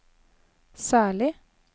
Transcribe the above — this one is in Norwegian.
særlig